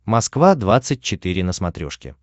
москва двадцать четыре на смотрешке